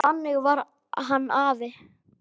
Þannig var hann afi.